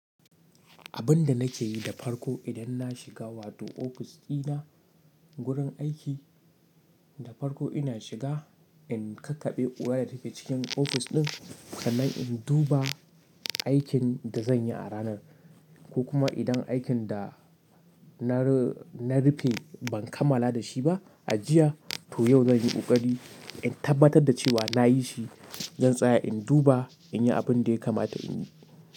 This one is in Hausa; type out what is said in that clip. Abin da nake yi da farko idan na shiga wato ofis dina, wurin aiki, da farko ina shiga, in kakkaɓe ƙura da take cikin ofis ɗin, sannan in duba aikin da zan yi a ranar, ko kuma idan aikin da na rufe ban kammala da shi ba, a jiya, to yau zan yi ƙoƙari in tabbatar da cewa na yi shi, Zan tsaya in duba in yi abin da ya kamata in yi.